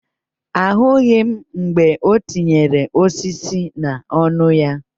Ahụghị m mgbe o tinyere osisi n'ọnụ ya.